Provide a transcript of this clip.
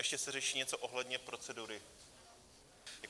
Ještě se řeší něco ohledně procedury.